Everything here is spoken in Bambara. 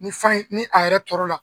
Nin fan in nin a yɛrɛ tɔrɔla.